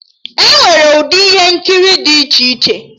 Enwere ụdị ihe nkiri dị iche iche